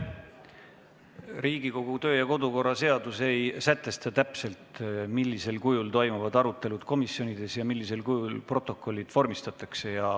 Riigikogu kodu- ja töökorra seadus ei sätesta täpselt, millisel juhul toimuvad komisjonides arutelud ja millisel kujul protokollid vormistatakse.